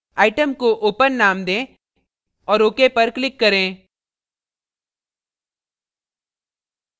item को open नाम दें और ok पर click करें